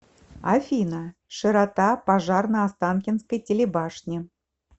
афина широта пожар на останкинской телебашне